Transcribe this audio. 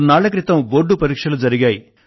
కొన్నాళ్ల క్రితం బోర్డు పరీక్షలు జరిగాయి